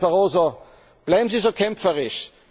Herr Präsident Barroso, bleiben Sie so kämpferisch!